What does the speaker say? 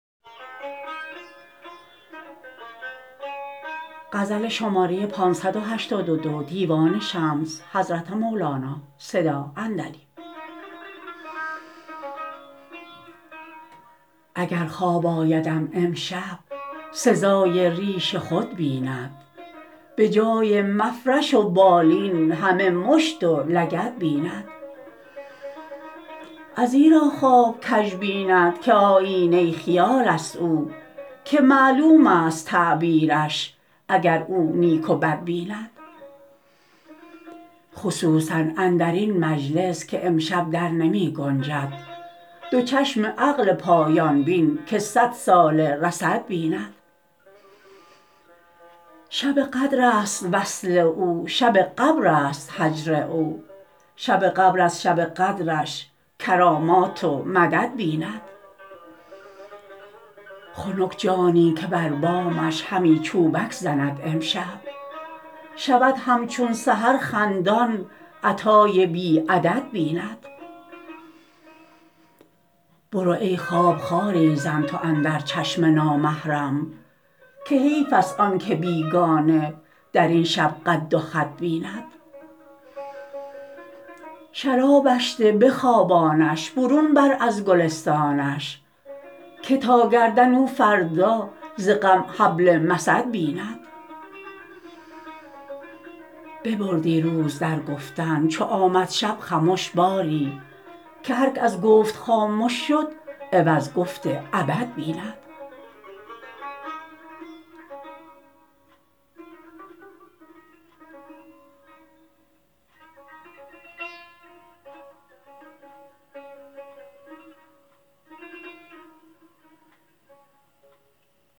اگر خواب آیدم امشب سزای ریش خود بیند به جای مفرش و بالی همه مشت و لگد بیند ازیرا خواب کژ بیند که آیینه خیالست او که معلوم ست تعبیرش اگر او نیک و بد بیند خصوصا اندر این مجلس که امشب در نمی گنجد دو چشم عقل پایان بین که صدساله رصد بیند شب قدرست وصل او شب قبرست هجر او شب قبر از شب قدرش کرامات و مدد بیند خنک جانی که بر بامش همی چوبک زند امشب شود همچون سحر خندان عطای بی عدد بیند برو ای خواب خاری زن تو اندر چشم نامحرم که حیفست آن که بیگانه در این شب قد و خد بیند شرابش ده بخوابانش برون بر از گلستانش که تا در گردن او فردا ز غم حبل مسد بیند ببردی روز در گفتن چو آمد شب خمش باری که هرک از گفت خامش شد عوض گفت ابد بیند